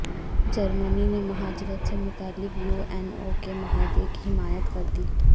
جرمنی نے مہاجرت سے متعلق یو این او کے معاہدے کی حمایت کر دی